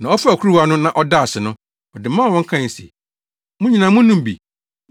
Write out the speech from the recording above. Na ɔfaa kuruwa no, na ɔdaa ase no, ɔde maa wɔn kae se, “Mo nyinaa monnom bi,